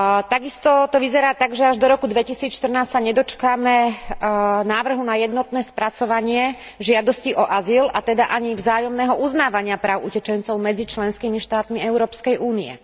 Takisto to vyzerá tak, že až do roku 2014 sa nedočkáme návrhu na jednotné spracovanie žiadosti o azyl, a teda ani vzájomného uznávania práv utečencov medzi členskými štátmi Európskej únie.